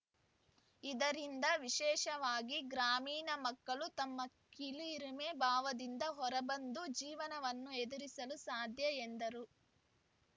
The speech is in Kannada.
ಇದರಿಂದ ವಿಶೇಷವಾಗಿ ಗ್ರಾಮೀಣ ಮಕ್ಕಳು ತಮ್ಮ ಕೀಳರಿಮೆ ಭಾವದಿಂದ ಹೊರಬಂದು ಜೀವನವನ್ನು ಎದುರಿಸಲು ಸಾಧ್ಯ ಎಂದರು